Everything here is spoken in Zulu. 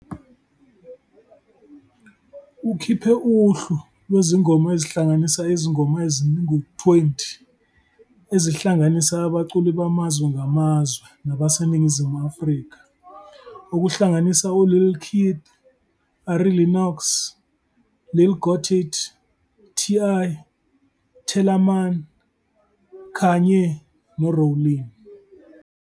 Ukhiphe uhlu lwezingoma ezihlanganisa izingoma ezingu-20 ezihlanganisa abaculi bamazwe ngamazwe nabaseNingizimu Afrika, okuhlanganisa uLil Keed, Ari Lennox, Lil Gotit, TI, Tellaman kanye noRowlene.